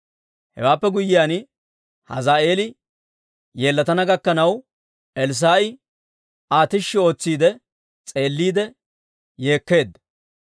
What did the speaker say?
Hewaappe guyyiyaan, Hazaa'eeli yeellatana gakkanaw, Elssaa'i Aa tishshi ootsiide s'eelliide yeekkeedda.